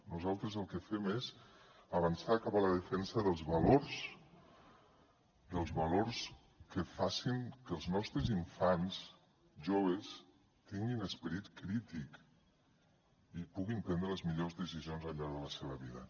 nosaltres el que fem és avançar cap a la defensa dels valors dels valors que facin que els nostres infants i joves tinguin esperit crític i puguin prendre les millors decisions al llarg de la seva vida